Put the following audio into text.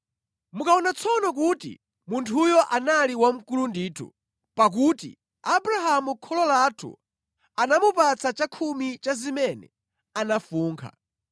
Mukuona tsono kuti munthuyo anali wamkulu ndithu, pakuti Abrahamu kholo lathu anamupatsa chakhumi cha zimene anafunkha.